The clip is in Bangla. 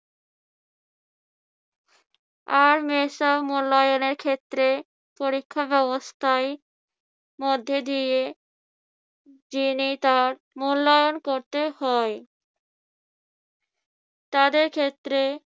আর মূল্যায়নের ক্ষেত্রে পরীক্ষা ব্যবস্থায় মধ্যে দিয়ে জেনে তার মূল্যায়ন করতে হয়। তাদের ক্ষেত্রে